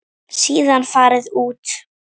Síðan farið út.